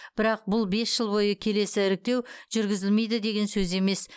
бірақ бұл бес жыл бойы келесі іріктеу жүргізілмейді деген сөз емес